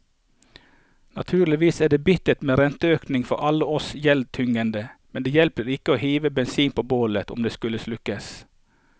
Naturligvis er det bittert med renteøkning for alle oss gjeldstyngede, men det hjelper ikke å hive bensin på bålet om det skal slukkes.